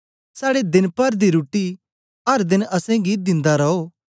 साड़े देन पर दी रुट्टी अर देन असेंगी दिन्दा रोह